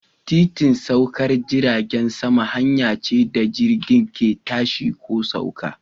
Titin saukar jiragen sama hanya ce da jirgin ke tashi ko sauka.